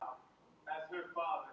Illt er við dýran að deila.